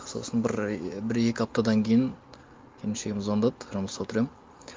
сосын бір бір екі аптадан кейін келіншегім звондады жұмыста отыр едім